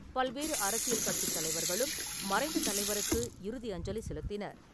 பல்வேறு அரசியல் கட்சித் தலைவர்களும் மறைந்த தலைவருக்கு இறுதி அஞ்சலி செலுத்தினர்.